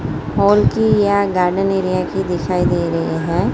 Hall की या garden area की दिखाई दे रही हैं।